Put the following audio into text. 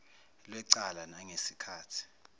lwecala nangesi khathi